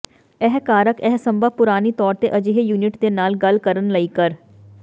ਇਹ ਕਾਰਕ ਇਹ ਸੰਭਵ ਪੁਰਾਣੀ ਤੌਰ ਤੇ ਅਜਿਹੇ ਯੂਨਿਟ ਦੇ ਨਾਲ ਗੱਲ ਕਰਨ ਲਈ ਕਰ